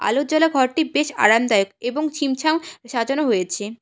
আলো জ্বলা ঘরটি বেশ আরামদায়ক এবং ছিমছাম সাজানো হয়েছে।